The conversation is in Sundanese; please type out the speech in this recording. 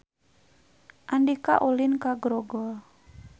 Andika ulin ka Grogol